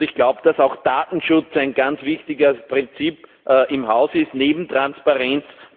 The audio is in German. Ich glaube, dass auch Datenschutz ein ganz wichtiges Prinzip im Haus ist neben Transparenz.